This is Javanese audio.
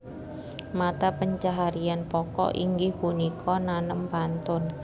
Mata pencaharian pokok inggih punika nanem pantun